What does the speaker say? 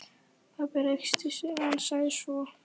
Pabbi ræskti sig en sagði svo